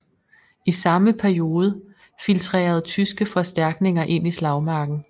I samme periode filtrerede tyske forstærkninger ind i slagmarken